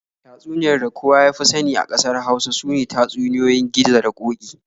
Tatsuniyar da kowa ya fi sani a ƙasar Hausa sune tatsuniyoyin Gizo da Ƙoki.